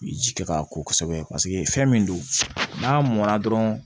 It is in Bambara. Ji kɛ ka ko kosɛbɛ fɛn min don n'a mɔn na dɔrɔn